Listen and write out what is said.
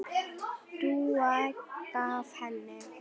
Dúa gaf henni.